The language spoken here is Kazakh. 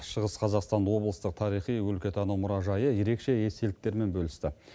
шығыс қазақстан облысы тарихи өлкетану мұражайы ерекше естеліктермен бөлісті